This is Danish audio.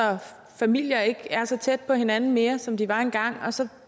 familier ikke er så tæt på hinanden mere som de var engang og så